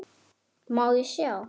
Má ég sjá?